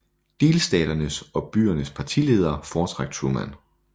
Delstaternes og byernes partiledere foretrak Truman